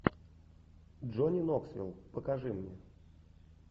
джонни ноксвилл покажи мне